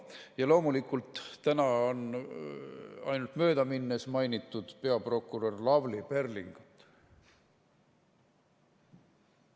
Ja loomulikult täna on ainult möödaminnes mainitud peaprokurör Lavly Perlingut.